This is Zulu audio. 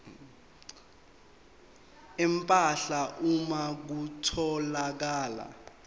empahla uma kutholakala